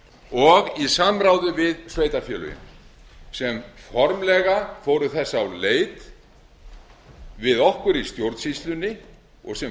og í samráði við sveitarfélögin sem formlega fóru þess á leit við okkur í stjórnsýslunni og sem